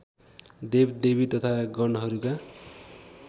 देवदेवी तथा गणहरूका